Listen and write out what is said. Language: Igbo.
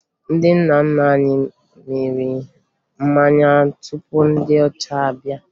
Ndị nna nna anyị mịrị mmanya tupu ndị ọcha abịa